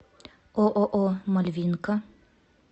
ооо мальвинка